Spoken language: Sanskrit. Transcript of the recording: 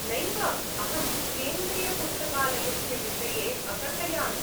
नैव, अहं केन्द्रियपुस्तकालयस्य विषये अकथयामि।